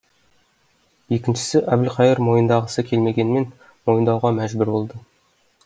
екіншісі әбілқайыр мойындағысы келмегенмен мойындауға мәжбүр болды